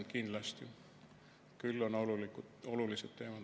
Aga kindlasti on need olulised teemad.